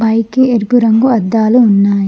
పైకి ఎరుపు రంగు అద్దాలు ఉన్నాయి.